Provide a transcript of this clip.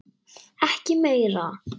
Ekki meira.